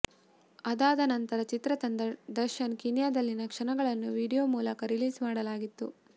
ಅದಾದ ನಂತರ ಚಿತ್ರತಂಡ ದರ್ಶನ್ ಕೀನ್ಯಾದಲ್ಲಿದ ಕ್ಷಣಗಳನ್ನು ವಿಡಿಯೋ ಮೂಲಕ ರಿಲೀಸ್ ಮಾಡಲಾಗಿತ್ತು